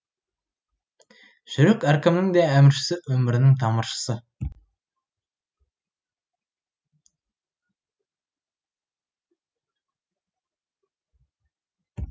жүрек әркімнің де әміршісі өмірінің тамыршысы